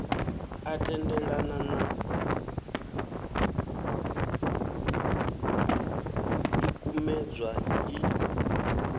a tendelana na ḽikumedzwa iḽi